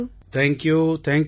அனைவரும் ஜெய் ஹிந்த் சார்